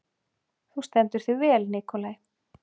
Þú stendur þig vel, Nikolai!